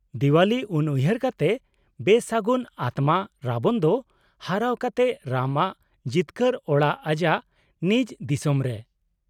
-ᱫᱮᱣᱟᱞᱤ ᱩᱱᱩᱦᱟᱹᱨ ᱠᱟᱛᱮ ᱵᱮᱥᱟᱹᱜᱩᱱ ᱟᱛᱢᱟ ᱨᱟᱵᱚᱱ ᱫᱚ ᱦᱟᱨᱟᱣ ᱠᱟᱛᱮ ᱨᱟᱢ ᱟᱜ ᱡᱤᱛᱠᱟᱹᱨ ᱟᱲᱟᱜ ᱟᱡᱟᱜ ᱱᱤᱡ ᱫᱤᱥᱚᱢᱨᱮ ᱾